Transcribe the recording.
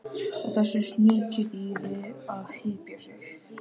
Og þessu sníkjudýri að hypja sig!